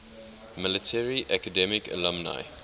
military academy alumni